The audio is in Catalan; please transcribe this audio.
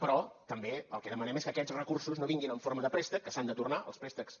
però també el que demanem és que aquests recursos no vinguin en forma de préstec que s’han de tornar els préstecs